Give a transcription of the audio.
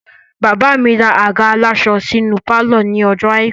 Bàbá mi ra àga aláṣọ sínú pálọ̀ ní ọjọ́ àìkú